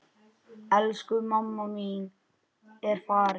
Elsku mamma mín er farin.